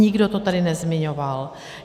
Nikdo to tady nezmiňoval.